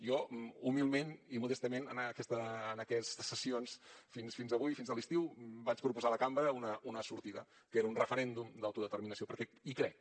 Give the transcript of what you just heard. jo humilment i modestament en aquestes sessions fins avui i fins a l’estiu vaig proposar a la cambra una sortida que era un referèndum d’autodeterminació perquè hi crec